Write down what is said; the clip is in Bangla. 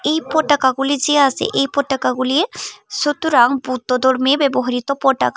এই পটাকাগুলি যে আছে এই পতাকাগুলি সুতরাং বুদ্ধ ধর্মে ব্যবহৃত পটাকা ।